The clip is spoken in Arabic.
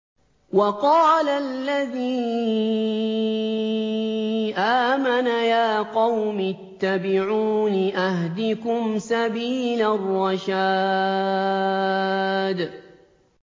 وَقَالَ الَّذِي آمَنَ يَا قَوْمِ اتَّبِعُونِ أَهْدِكُمْ سَبِيلَ الرَّشَادِ